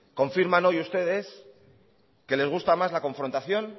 confirman hoy ustedes que les gusta más la confrontación